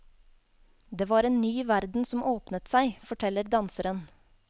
Det var en ny verden som åpnet seg, forteller danseren.